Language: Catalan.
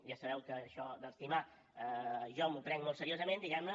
ja sabeu que això d’estimar jo m’ho prenc molt seriosament diguem ne